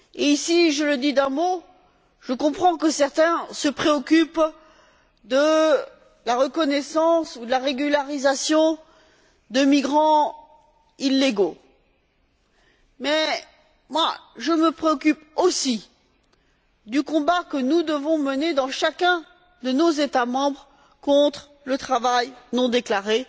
Ici, je le dis simplement, je comprends que certains se préoccupent de la reconnaissance ou de la régularisation de migrants illégaux, mais moi, je me préoccupe aussi du combat que nous devons mener dans chacun de nos États membres contre le travail non déclaré.